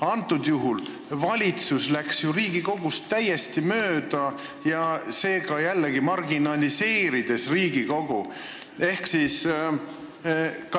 Praegusel juhul läks valitsus Riigikogust täiesti mööda ja seega jällegi marginaliseeris Riigikogu.